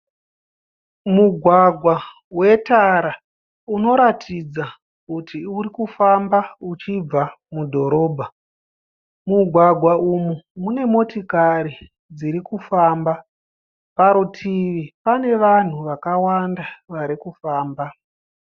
Mugwagwa wetara unoratidza kuti uri kufamba uchibva mudhorobha. Mugwagwa umu mune motikari dziri kufamba. Parutivi pane vanhu vakawanda vari kufamba.